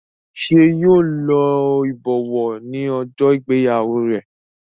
ṣe yíò ló ibọwọ ní ojó ìgbéyàwó rẹ?